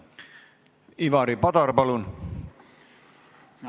Ivari Padar, palun!